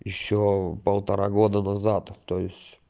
ещё полтора года назад то есть